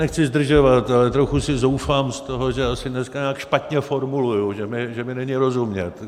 Nechci zdržovat, ale trochu si zoufám z toho, že asi dneska nějak špatně formuluji, že mi není rozumět.